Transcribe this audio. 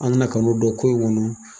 An nana k'a n'o dɔn ko in kɔnɔ.